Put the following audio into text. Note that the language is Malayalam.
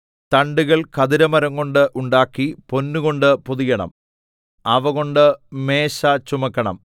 തണ്ടുകൾ ഖദരിമരംകൊണ്ട് ഉണ്ടാക്കി പൊന്നുകൊണ്ട് പൊതിയേണം അവ കൊണ്ട് മേശ ചുമക്കണം